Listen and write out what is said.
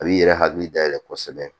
A b'i yɛrɛ hakili dayɛlɛ kosɛbɛ